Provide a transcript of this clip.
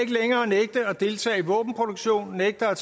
deltage i våbenproduktion og nægte at